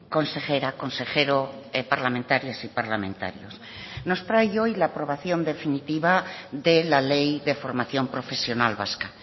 consejera consejero parlamentarias y parlamentarios nos trae hoy la aprobación definitiva de la ley de formación profesional vasca